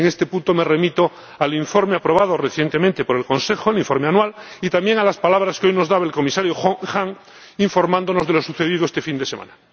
En este punto, me remito al informe aprobado recientemente por el Consejo —el informe anual— y también a las palabras que hoy nos dirigía el Comisario Hahn, informándonos de lo sucedido este fin de semana.